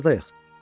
Biz hardayıq?